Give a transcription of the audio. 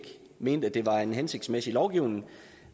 mente at det var en hensigtsmæssig lovgivning